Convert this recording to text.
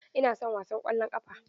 Ina son wasan ƙwallon ƙafa.